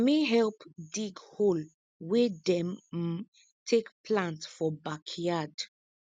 na me help dig hole wey dem um take plant for backyard